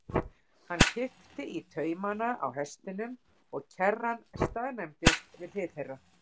Hann kippti í taumana á hestinum og kerran staðnæmdist við hlið þeirra.